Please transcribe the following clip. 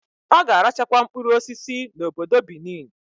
Oga arachakwa mkpụrụ osisi na obodo Benin